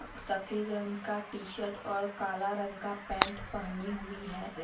सफेद रंग का टी शर्ट और काला रंग का पैंट पहनी हुई है।